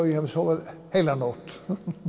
ég hafi sofið heila nótt